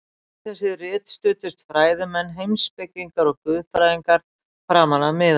Við þessi rit studdust fræðimenn, heimspekingar og guðfræðingar framan af miðöldum.